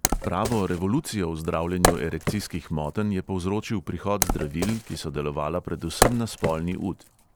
Pravo revolucijo v zdravljenju erekcijskih motenj je povzročil prihod zdravil, ki so delovala predvsem na spolni ud.